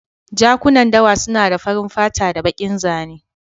Jakunan dawa suna da farin fata da bakin zane.